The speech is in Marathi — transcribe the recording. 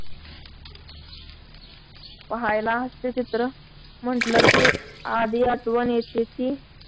पाहायला हास्यचित्र म्हटलं की आधी आठवण येते ती